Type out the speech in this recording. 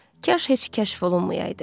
Kaş heç kəşf olunmayaydı.